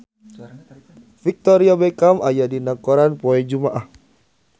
Victoria Beckham aya dina koran poe Jumaah